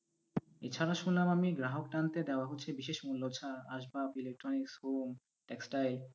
এছাড়া শুনলাম আমি গ্রাহক টানতে দেওয়া হচ্ছে বিশেষ মূল্য ছাড়, আসবাব, electronics, home, textile,